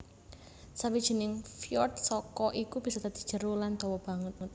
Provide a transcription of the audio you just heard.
Sawijining fyord saka iku bisa dadi jero lan dawa banget